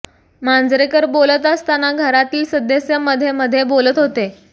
मांजरेकर बोलत असताना घरातील सदस्य मध्ये मध्ये बोलत होते